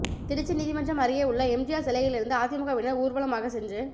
திருச்சி நீதிமன்றம் அருகே உள்ள எம்ஜிஆர் சிலையிலிருந்து அதிமுகவினர் ஊர்வலமாக சென்று